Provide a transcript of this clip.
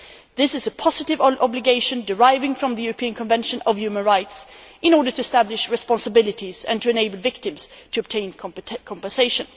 This is a positive obligation, deriving from the European Convention of Human Rights, in order to establish responsibilities and to enable victims to obtain compensation.